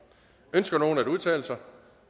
ønsker nogen at udtale sig